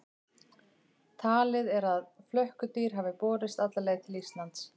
Talið er að flökkudýr hafi borist alla leið til Íslands.